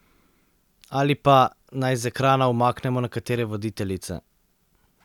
Ali pa, naj z ekrana umaknemo nekatere voditeljice.